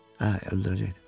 Hə, öldürəcəkdi.